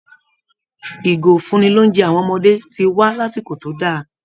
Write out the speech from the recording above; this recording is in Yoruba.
Ìgò ìfúnni-lóunjẹ àwọn ọmọdé ti wá lásìkò tó dá a